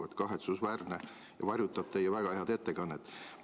See on kahetsusväärne ja varjutab teie väga head ettekannet.